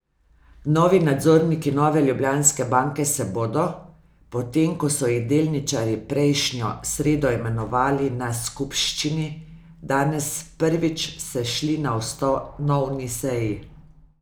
Novi nadzorniki Nove Ljubljanske banke se bodo, potem ko so jih delničarji prejšnjo sredo imenovali na skupščini, danes prvič sešli na ustanovni seji.